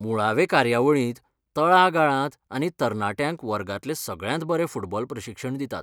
मुळावे कार्यावळींत तळागाळांत आनी तरनाट्यांक वर्गांतलें सगळ्यांत बरें फुटबॉल प्रशिक्षण दितात.